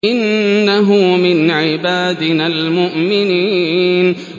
إِنَّهُ مِنْ عِبَادِنَا الْمُؤْمِنِينَ